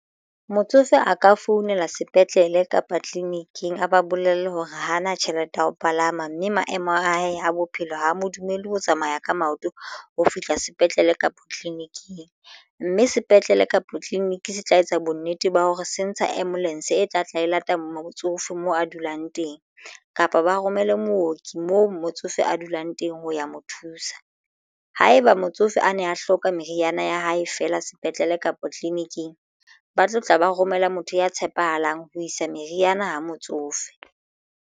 Motsofe a ka founela sepetlele kapa tleliniking a ba bolelle hore hana tjhelete ya ho palama mme maemo a hae a bophelo ho mo dumellwe ho tsamaya ka maoto ho fihla sepetlele kapa tleliniking mme sepetlele kapa clinic se tla etsa bonnete ba hore se ntsha ambulance e tla tla e lata motsofe mo a dulang teng kapa ba romele mooki moo motsofe a dulang teng ho ya motho thusa haeba motsofe a ne a hloka meriana ya hae fela sepetlele kapa tleleniking ba tlo tla ba romela motho ya tshepahalang ho isa meriana ho motsofe.